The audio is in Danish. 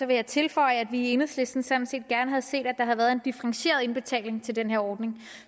vil jeg tilføje at vi i enhedslisten sådan set gerne havde set at der havde været en differentieret indbetaling til den her ordning